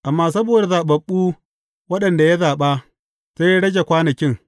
Amma saboda zaɓaɓɓu waɗanda ya zaɓa, sai ya rage kwanakin.